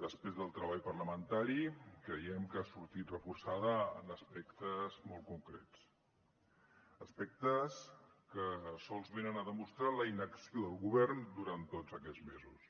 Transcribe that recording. després del treball parlamentari creiem que ha sortit reforçada en aspectes molt concrets aspectes que sols venen a demostrar la inacció del govern durant tots aquests mesos